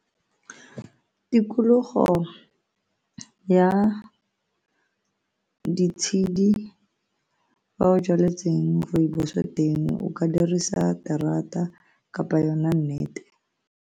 Tikologo ya ditshedi fa o jwaletseng rooibos teng o ka dirisa terata kapa yona net-e.